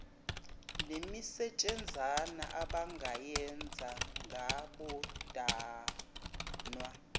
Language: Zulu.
nemisetshenzana abangayenza ngabodwana